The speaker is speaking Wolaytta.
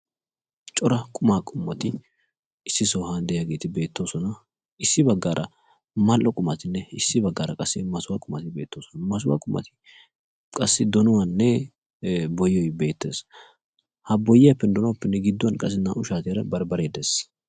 Cora qumaa qommotti issi sohuwan de'iaygetti beetosonna. Hegeetikka mal'onne masuha qumatti beetosonna. masuha qummatti boyenne donoy beetosonna.